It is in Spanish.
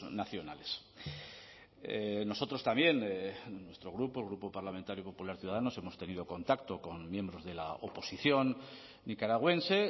nacionales nosotros también nuestro grupo el grupo parlamentario popular ciudadanos hemos tenido contacto con miembros de la oposición nicaragüense